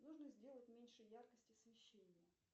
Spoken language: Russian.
нужно сделать меньше яркость освещения